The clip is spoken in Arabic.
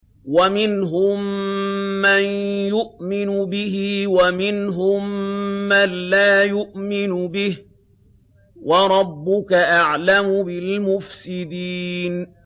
وَمِنْهُم مَّن يُؤْمِنُ بِهِ وَمِنْهُم مَّن لَّا يُؤْمِنُ بِهِ ۚ وَرَبُّكَ أَعْلَمُ بِالْمُفْسِدِينَ